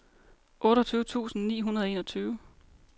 otteogtyve tusind ni hundrede og enogtyve